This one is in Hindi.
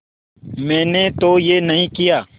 मैंने तो यह नहीं किया